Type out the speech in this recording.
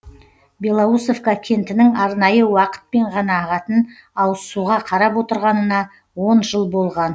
белоусовка кентінің арнайы уақытпен ғана ағатын ауызсуға қарап отырғанына он жыл болған